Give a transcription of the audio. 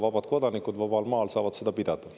Vabad kodanikud vabal maal saavad seda pidada.